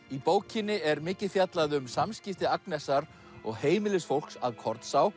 í bókinni er mikið fjallað um samskipti Agnesar og heimilisfólks að